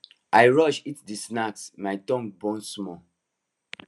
i rush eat the snack my tongue burn small